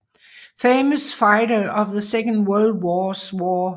Famous Fighters of the Second World War